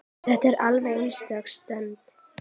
Þetta var alveg einstök stund.